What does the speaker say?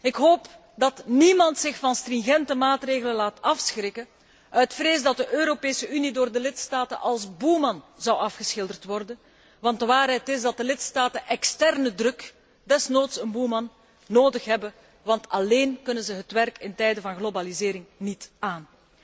Ik hoop dat niemand zich van stringente maatregelen laat afschrikken uit vrees dat de Europese Unie door de lidstaten als boeman afgeschilderd zou worden, want de waarheid is dat de lidstaten externe druk, desnoods een boeman nodig hebben, want alleen kunnen ze het werk in tijden van globalisering niet aan.